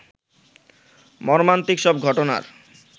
মর্মান্তিক সব ঘটনার